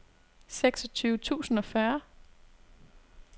seksogtyve tusind og fyrre